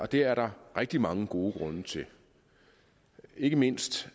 det er der rigtig mange gode grunde til ikke mindst